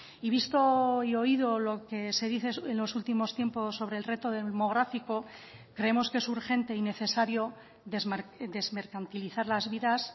y visto y oído lo que se dice en los últimos tiempos sobre el reto demográfico creemos que es urgente y necesario desmercantilizar las vidas